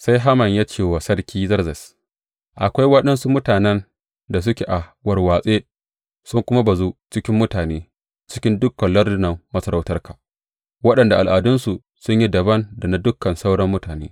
Sai Haman ya ce wa Sarki Zerzes, Akwai waɗansu mutanen da suke a warwatse, sun kuma bazu a cikin mutane cikin dukan lardunan masarautarka, waɗanda al’adunsu sun yi dabam da na dukan sauran mutane.